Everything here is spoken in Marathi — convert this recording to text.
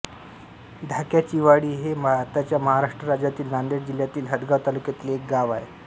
ढाक्याचीवाडी हे भारताच्या महाराष्ट्र राज्यातील नांदेड जिल्ह्यातील हदगाव तालुक्यातील एक गाव आहे